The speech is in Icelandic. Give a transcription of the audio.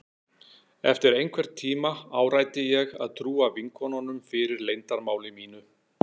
Eftir einhvern tíma áræddi ég að trúa vinkonunum fyrir leyndarmáli mínu.